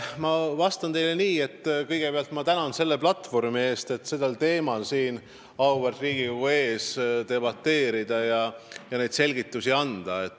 Ma vastan teile nii, et kõigepealt ma tänan selle platvormi eest, tänu millele saab auväärt Riigikogu ees sel teemal debateerida ja selgitusi anda.